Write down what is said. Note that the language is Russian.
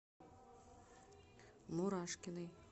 мурашкиной